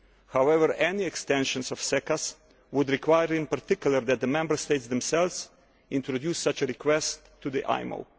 However, any extension of SECAs would require in particular that the Member States themselves introduce such a request to the